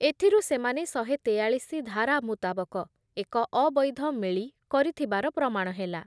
ଏଥିରୁ ସେମାନେ ସହେ ତେୟାଳିଶି ଧାରା ମୁତାବକ ଏକ ଅବୈଧ ମେଳି କରିଥିବାର ପ୍ରମାଣ ହେଲା ।